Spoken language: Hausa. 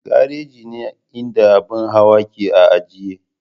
Garaji ne inda ababen hawa ke a ajiye.